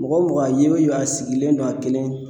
Mɔgɔ mɔgɔ ye o ye a sigilen don a kelen